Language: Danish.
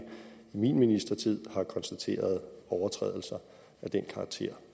min ministertid har konstateret overtrædelser af den karakter